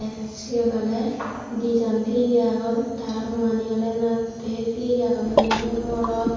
siyod ole dijon tiyeye agon tara muani ole natte tiyeye agonne yun ole morod.